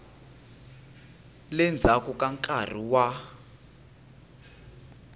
le ndzhaku ka nkarhi wa